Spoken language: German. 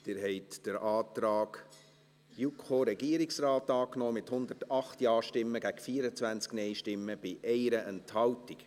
Sie haben den Antrag JuKo/Regierungsrat angenommen, mit 108 Ja- gegen 24 NeinStimmen bei 1 Enthaltung.